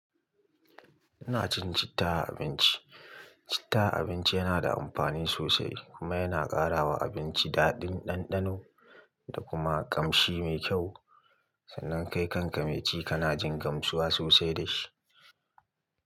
Ina cin citta a abinci. Citta a abinci yana da amfani sosai kuma yana ƙara wa abinci daɗin ɗanɗano da kuma ƙamshi mai kyau. Sannan kai kanka mai ci kana jin gamsuwa sosai da shi.